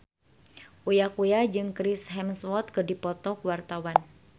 Uya Kuya jeung Chris Hemsworth keur dipoto ku wartawan